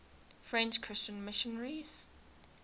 french christian missionaries